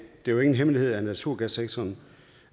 det er jo ingen hemmelighed at naturgassektoren